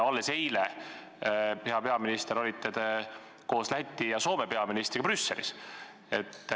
Alles eile, hea peaminister, te olite koos Läti ja Soome peaministriga Brüsselis.